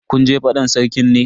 Kun je fadan Sarkin ne?